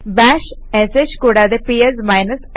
bash sh കൂടാതെ PS f